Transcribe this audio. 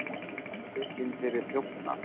Handtekinn fyrir þjófnað